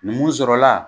Mun sɔrɔla